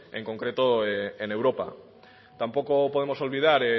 en concreto en europa tampoco podemos olvidar